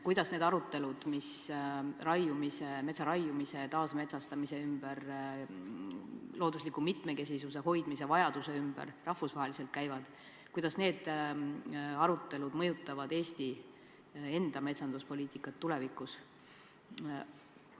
Kuidas need arutelud, mis metsa raiumise, taasmetsastamise ja loodusliku mitmekesisuse hoidmise vajaduse ümber rahvusvaheliselt käivad, mõjutavad Eesti enda metsanduspoliitikat tulevikus?